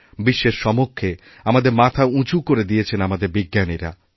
বিশ্বের সমক্ষে আমাদের মাথা উঁচু করে দিয়েছেনআমাদের বিজ্ঞানীরা